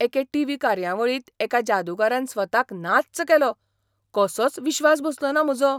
एके T. V. कार्यावळींत एका जादूगारान स्वताक नाच्च केलो, कसोच विश्वास बसलोना म्हजो.